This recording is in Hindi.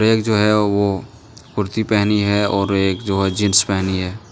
एक जो है वो कुर्ती पहनी है और एक जो है जींस पहनी है।